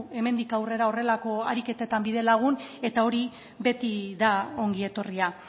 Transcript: hemendik aurrera horrelako ariketetan bidelagun eta hori beti da ongi etorria